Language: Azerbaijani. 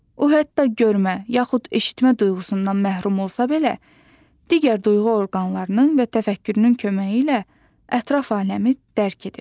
O, hətta görmə, yaxud eşitmə duyğusundan məhrum olsa belə, digər duyğu orqanlarının və təfəkkürünün köməyi ilə ətraf aləmi dərk edir.